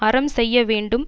அறம் செய்ய வேண்டும்